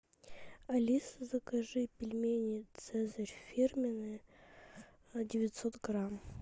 алиса закажи пельмени цезарь фирменные девятьсот грамм